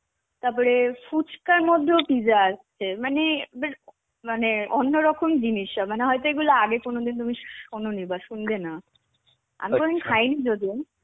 তারপরে ফুচকার মধ্যেও pizza আসছে. মানে মানে অন্যরকম জিনিস মানে হয়তো এগুলো আগে কোনদিন তুমি শো~ শোনোনি বা শুনবে না. আমি কোনদিন খাইনি যদিও.